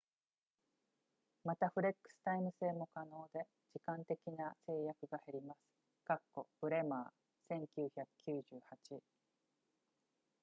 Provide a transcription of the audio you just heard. また、フレックスタイム制も可能で、時間的な制約が減ります bremer 1998